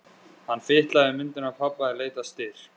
Hann fitlaði við myndina af pabba í leit að styrk.